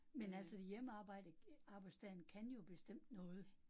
Men altså hjemmearbejde arbejdsdagen kan jo bestemt noget